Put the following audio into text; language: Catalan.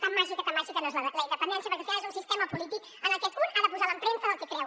tan màgica tan màgica no és la independència perquè al final és un sistema polític en el que un ha de posar l’empremta del que creu